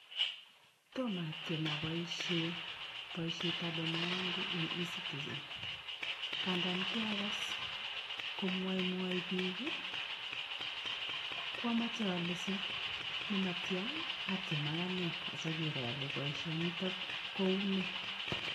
Toma atiem apoishe poisiet ab boma yangu eng' Ecitizen, kandan kiagas komwaemwae piik ko kwamache ale sinematya atiem akanee asaker ale boisiot nitok kou nee.